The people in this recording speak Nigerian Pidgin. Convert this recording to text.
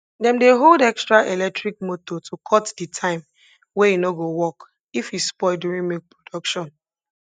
dem dey hold extra electric motor to cut de time wey e nor go work if e spoil during milk production